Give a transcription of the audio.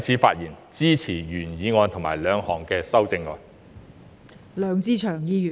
我也會支持其他修正案，我謹此陳辭。